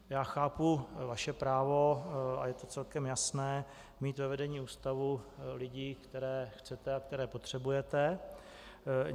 Já chápu vaše právo - a je to celkem jasné - mít ve vedení ústavu lidi, které chcete a které potřebujete.